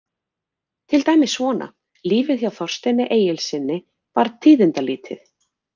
Til dæmis svona: Lífið hjá Þorsteini Egilssyni var tíðindalítið.